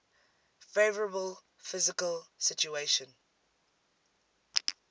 favourable fiscal situation